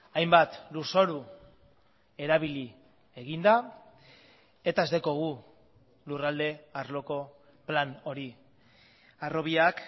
hainbat lurzoru erabili egin da eta ez daukagu lurralde arloko plan hori harrobiak